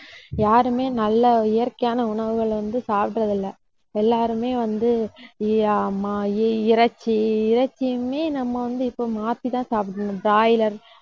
யாருமே நல்ல இயற்கையான உணவுகளை வந்து சாப்பிடுறது இல்ல. எல்லாருமே வந்து மா~இறைச்சி, இறைச்சியுமே நம்ம வந்து இப்ப மாத்தி தான் சாப்பிடணும் broiler